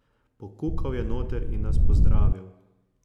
Pokukal je noter in nas pozdravil.